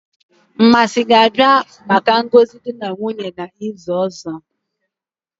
Mmasi ga-abia maka ngozi di na nwunye n'izu ozo?